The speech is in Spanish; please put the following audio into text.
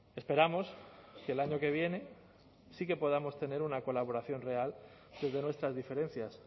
esperamos que el año que viene sí que podamos tener una colaboración real desde nuestras diferencias